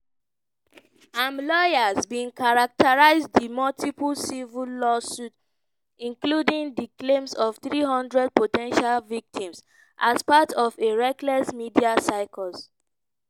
im lawyers bin characterise di multiple civil lawsuits including di claims of 300 po ten tial victims as part of a "reckless media circus".